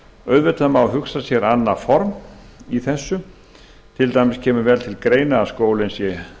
auðvitað má hugsa sér annað form til dæmis kemur vel til greina að skólinn sé